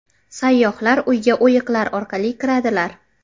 Sayyohlar uyga o‘yiqlar orqali kiradilar.